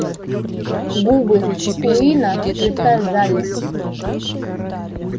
губы куинна слегка сжались